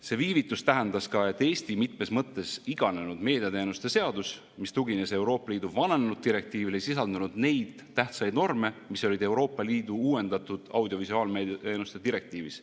See viivitus tähendas ka, et Eesti mitmes mõttes iganenud meediateenuste seadus, mis tugines Euroopa Liidu vananenud direktiivile, ei sisaldanud neid tähtsaid norme, mis olid Euroopa Liidu uuendatud audiovisuaalmeedia teenuste direktiivis.